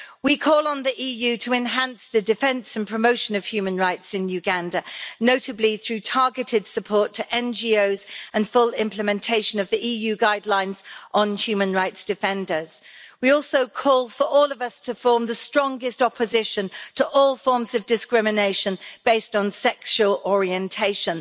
We call on the EU to enhance the defence and promotion of human rights in Uganda, notably through targeted support to NGOs and full implementation of the EU guidelines on human rights defenders. We also call for all of us to form the strongest opposition to all forms of discrimination based on sexual orientation.